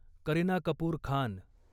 Kareena Kapoor Khan